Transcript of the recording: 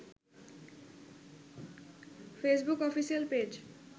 Facebook official page